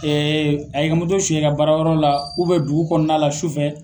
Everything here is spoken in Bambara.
Ee a y'i ka moto suɲɛ i ka baara yɔrɔ la , dugu kɔnɔna la su fɛ